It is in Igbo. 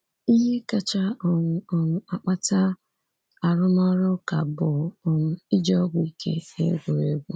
Ihe kacha um um akpata arụmọrụ ụka bụ um ịji ọgwụ ike n'égwùrégwú.